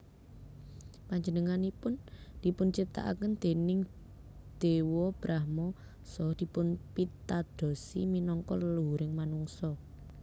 Panjenenganipun dipunciptakaken déning Dewa Brahma saha dipunpitadosi minangka leluhuring manungsa